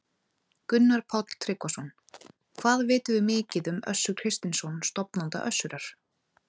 Gunnar Páll Tryggvason: Hvað vitum við mikið um Össur Kristinsson, stofnanda Össurar?